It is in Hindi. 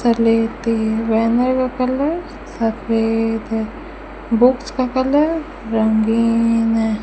कर लेते है बैनर का कलर सफेद है बुक्स का कलर रंगीन है।